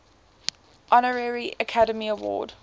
honorary academy award